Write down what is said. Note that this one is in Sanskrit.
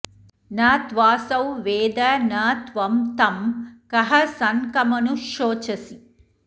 न त्वासौ वेद न त्वं तं कः सन्कमनुशोचसि